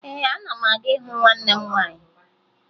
Ee, ana m aga ịhụ nwanne m nwaanyị